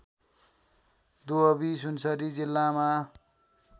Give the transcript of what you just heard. दुहवी सुनसरी जिल्लामा